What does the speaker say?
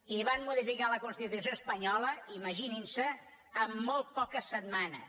i van modificar la constitució espanyola imaginin s’ho en molt poques setmanes